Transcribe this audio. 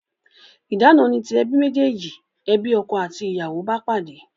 Idana ni ti ebi mejeji, ebi ọkọ àti ìyàwó bá pàdé